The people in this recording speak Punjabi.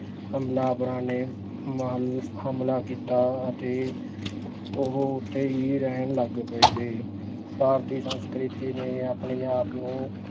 ਹਮਲਾਵਰਾਂ ਨੇ ਮਲ~ ਹਮਲਾ ਕੀਤਾ ਅਤੇ ਉਹ ਉੱਥੇ ਹੀ ਰਹਿਣ ਲੱਗ ਪਏ ਭਾਰਤੀ ਸੰਸਕ੍ਰਿਤੀ ਨੇ ਆਪਣੇ ਆਪ ਨੂੰ